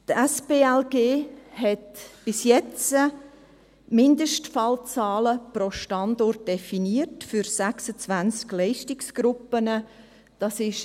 Die Spitalplanungs-Leistungsgruppe (SPLG) hat bis jetzt Mindestfallzahlen pro Standort für 26 Leistungsgruppen definiert.